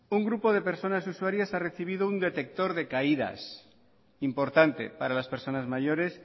un grupo de personas usuarias ha recibido un detector de caídas importante para las personas mayores